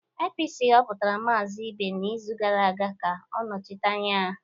APC họpụtara Maazị Ibe n'izu gara aga ka ọ nọchite anya ha.